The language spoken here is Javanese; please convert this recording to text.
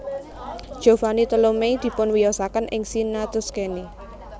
Giovanni Tolomei dipunwiyosaken ing Siena Tuscany